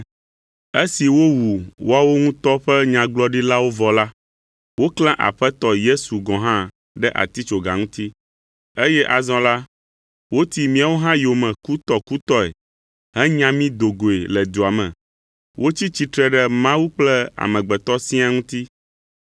Esi wowu woawo ŋutɔ ƒe nyagblɔɖilawo vɔ la, woklã Aƒetɔ Yesu gɔ̃ hã ɖe atitsoga ŋuti, eye azɔ la, woti míawo hã yome kutɔkutɔe henya mí do goe le dua me. Wotsi tsitre ɖe Mawu kple amegbetɔ siaa ŋuti,